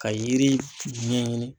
Ka yiri ɲɛɲini.